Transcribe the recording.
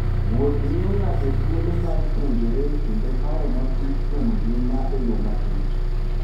Wuoth miyo ng'ato thuolo mar puonjore kendo paro matut kuom ngima e yo matut.